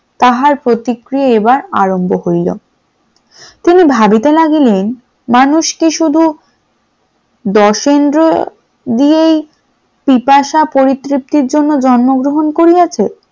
তাহার প্রতিক্রিয়ায় এবার আরম্ভ হইল, তিনি ভাবিতে লাগলেন মানুষ কি শুধু দর্শনেন্দ্রিয় দিয়েই পিপাসা পরিতৃপ্তির জন্য জন্মগ্রহণ করিয়াছে ।